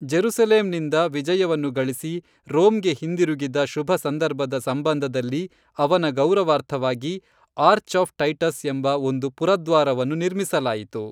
Jerusalem ನಿಂದ ವಿಜಯವನ್ನು ಗಳಿಸಿ ರೋಮ್ಗೆ ಹಿಂದಿರುಗಿದ ಶುಭಸಂದರ್ಭದ ಸಂಬಂಧದಲ್ಲಿ ಅವನ ಗೌರವಾರ್ಥವಾಗಿ ಆರ್ಚ್ ಆಫ್ ಟೈಟಸ್ ಎಂಬ ಒಂದು ಪುರದ್ವಾರವನ್ನು ನಿರ್ಮಿಸಲಾಯಿತು